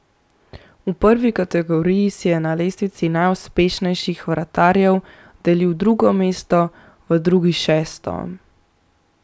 V prvi kategoriji si je na lestvici najuspešnejših vratarjev delil drugo mesto, v drugi šesto.